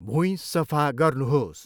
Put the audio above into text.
भुइँ सफा गर्नुहोस्।